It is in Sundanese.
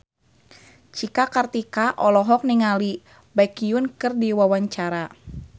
Cika Kartika olohok ningali Baekhyun keur diwawancara